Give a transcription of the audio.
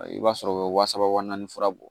I b'a sɔrɔ u bɛ wa saba wa naani fura bɔ